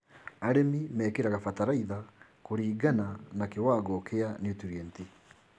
Arĩmi mekĩraga bataraitha kũringana na kĩwangao kĩa niutrienti.